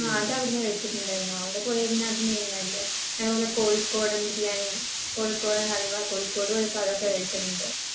ങ്ഹാ അതവിടന്ന് കഴിച്ചിട്ടുണ്ടായിരുന്നു. അവിടെ പോയാൽ പിന്നെ അത് main അല്ലെ. അതേപോലെ കോഴിക്കോടൻ ബിരിയാണി, കോഴിക്കോടൻ ഹൽവ. കോഴിക്കോട് പോയപ്പോൾ അതൊക്കെ കഴിച്ചിട്ടുണ്ട്.